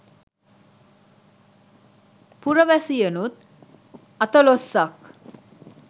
පුරවැසියනුත් අතලොස්සක්